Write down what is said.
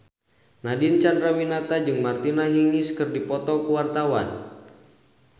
Nadine Chandrawinata jeung Martina Hingis keur dipoto ku wartawan